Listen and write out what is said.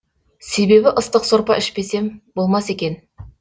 себебі ыстық сорпа ішпесем болмас екен